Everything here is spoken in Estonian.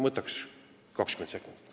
Võtaksin 20 sekundit.